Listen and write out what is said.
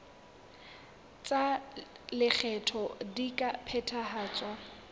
tsa lekgetho di ka phethahatswa